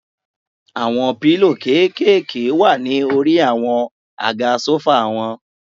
Àwọn pílò kékèèké wà ní orí àwọn àga sófà wọn.